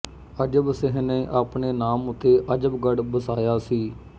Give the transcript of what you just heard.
ਅਜਬ ਸਿੰਹ ਨੇ ਆਪਣੇ ਨਾਮ ਉੱਤੇ ਅਜਬਗੜ ਬਸਾਇਆ ਸੀ